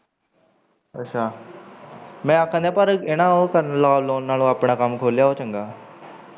ਅੱਛਾ ਮੈਂ ਆਖਣ ਦਿਆ ਪਰ ਉਹ ਕਰਨ ਨਾਲੋਂ ਆਪਣਾ ਕੰਮ ਖੋਲਿਆ ਉਹ ਚੰਗਾ।